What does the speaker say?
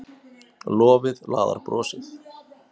Lofið laðar brosið.